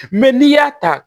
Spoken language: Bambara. Mɛ n'i y'a ta